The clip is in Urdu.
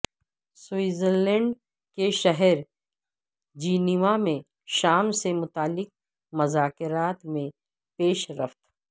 سوئٹزر لینڈ کے شہر جینوا میں شام سے متعلق مذاکرات میں پیش رفت